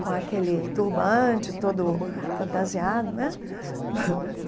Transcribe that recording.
com aquele turbante todo fantasiado, né?